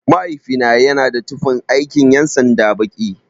Mahaifina yana da tufan aikin ƴan sanda baki.